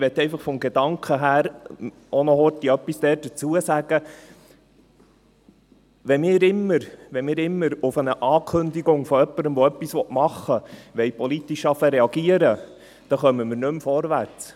Ich möchte aber vom Gedanken her auch noch kurz etwas dazu sagen: Wenn wir immer auf eine Ankündigung von jemandem, der etwas machen will, politisch reagieren wollen, dann kommen wir nicht mehr voran.